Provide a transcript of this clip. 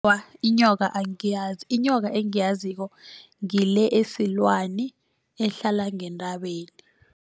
inyoka angiyazi inyoka engiyaziko ngile esilwani ehlala ngentabeni.